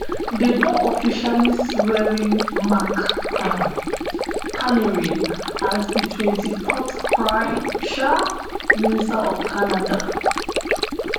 dem don officially swearin mark um carney as di twenty-fourth prime um minister of canada